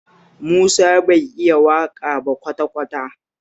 Musa bai iya waƙa ba kwata-kwata